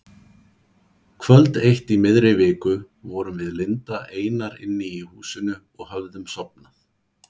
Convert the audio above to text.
Kvöld eitt í miðri viku vorum við Linda einar inni í húsinu og höfðum sofnað.